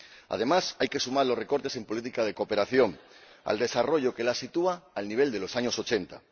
Además, hay que sumar los recortes en política de cooperación al desarrollo, que la sitúan al nivel de los años ochenta.